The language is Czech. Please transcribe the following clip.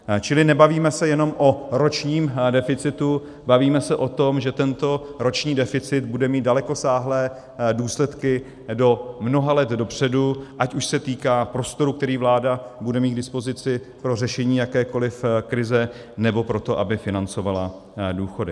Čili nebavíme se jenom o ročním deficitu, bavíme se o tom, že tento roční deficit bude mít dalekosáhlé důsledky do mnoha let dopředu, ať už se týká prostoru, který vláda bude mít k dispozici pro řešení jakékoliv krize, nebo pro to, aby financovala důchody.